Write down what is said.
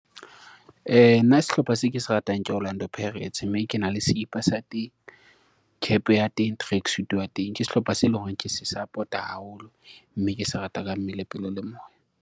Nna sehlopha se ke se ratang ke Orlando Pirates mme ke na le sekipa sa teng, cap ya teng, tracksuit ya teng ke sehlopha se leng hore ke se support-a haholo, mme ke se rata ka mmele pelo le moya.